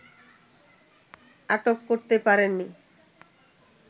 আটক করতে পারেন নি